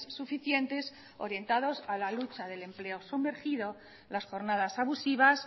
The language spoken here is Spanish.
suficientes orientados a la lucha del empleo sumergido las jornadas abusivas